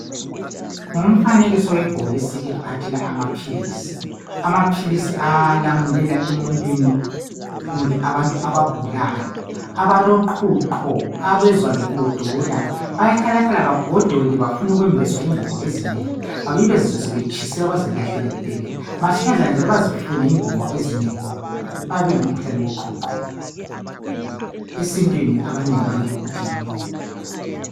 Ngumfanekiso webhomisi elamaphilizi amaphilizi alamulela emuntwini kumbe ebantwini abagulayo abaloqhuqho abazizwa begodola bahlala begodole befune ukwembeswa ingubo ezinengi bazizwe sebetshiselwa bazipahlele le bephinde bazifune ingubo ezinengi bayabe belomkhihoane woqhuqho esintwini abanengi bayade ukuthi yinyongo